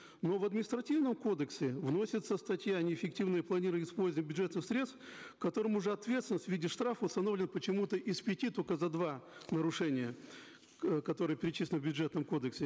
но в административном кодексе вносится статья неэффективное планирование и использование бюджетных средств в котором уже ответственность в виде штрафа установлена почему то из пяти только за два нарушения э которые перечислены в бюджетном кодексе